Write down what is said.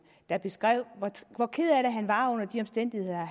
der beskrev hvor ked af det han var af de omstændigheder